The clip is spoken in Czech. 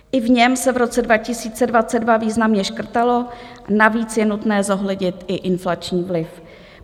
I v něm se v roce 2022 významně škrtalo, navíc je nutné zohlednit i inflační vliv.